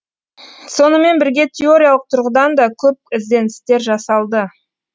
сонымен бірге теориялық тұрғыдан да көп ізденістер жасалды